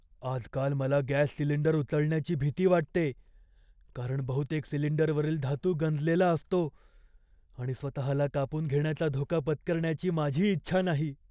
आजकाल मला gas cylinder उचलण्याची भीती वाटते, कारण बहुतेक सिलिंडरवरील धातू गंजलेला असतो आणि स्वतःला कापून घेण्याचा धोका पत्करण्याची माझी इच्छा नाही.